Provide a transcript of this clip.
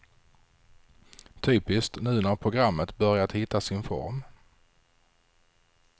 Typiskt, nu när programmet börjat hitta sin form.